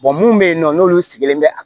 mun be yen nɔ n'olu sigilen be a